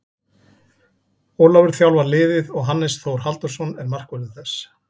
Ólafur þjálfar liðið og Hannes Þór Halldórsson er markvörður þess.